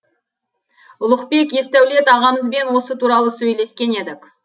ұлықбек есдәулет ағамызбен осы туралы сөйлескен едік